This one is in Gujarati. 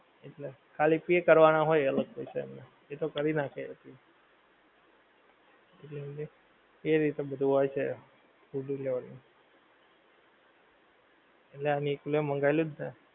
એટલે ખાલી pay કરવાના હોય અલગ થી એતો કરી નાંખે. એટલે એ રીતે બધુ હોય છે, food delivery નું. એટલે આ નિકુલે મંગાવેલું જ ને.